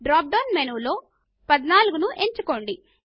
drop down menu లో 14 ను ఎంచుకోండి